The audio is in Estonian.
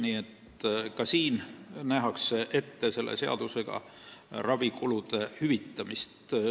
Nii et ka sel juhul nähakse ette ravikulude hüvitamine.